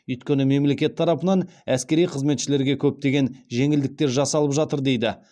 өйткені мемлекет тарапынан әскери қызметшілерге көптеген жеңілдіктер жасалып жатыр дейді